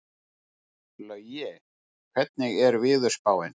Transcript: Laugi, hvernig er veðurspáin?